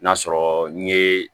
N'a sɔrɔ n ye